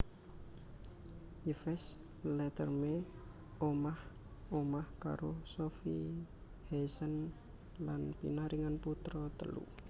Yves Leterme omah omah karo Sofie Haesen lan pinaringan putra telu